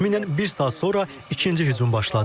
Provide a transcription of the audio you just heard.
Təxminən bir saat sonra ikinci hücum başladı.